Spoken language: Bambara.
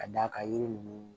Ka d'a kan yiri ninnu